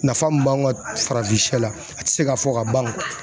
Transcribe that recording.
Nafa mun b'anw ka farafinsɛ la a tɛ se ka fɔ ka ban